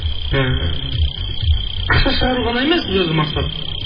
і ақша шығару ғана емес бұл жерде мақсат